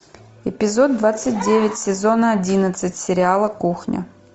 эпизод двадцать девять сезона одиннадцать сериала кухня